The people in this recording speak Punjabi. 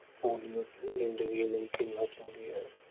ਪੋਲੀਓ ਕਿਉਂ ਜ਼ਿੰਦਗੀ ਲਈ ਕਿੰਨਾ ਜ਼ਰੂਰੀ ਹੈ।